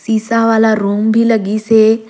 शीशा वाला रूम भी लगीसे।